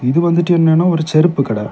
இது வந்துட்டு என்னன்னா ஒரு செருப்பு கட.